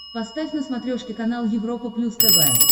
поставь на смотрешке канал европа плюс тв